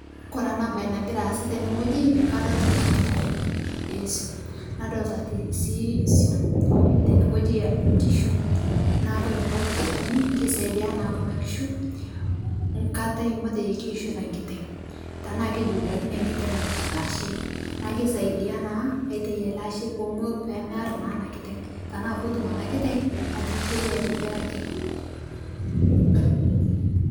Kore ana bai nagira aasa tene ng'oji kadolita naa lkitarini lesuo,m nadolita sii suom tene ng'oji nkishu naa kore kulo kitarini keisaidia naa kuna kishuu nkatai matejo keishoita nkiteng' tanaa keijuljulakine nkiteng' lashe naa keisaidia naa aitai ale ashee pomoo pemear naa ana kiteng' tanaa pootum ana kiteng' atiishoi aitibiraki.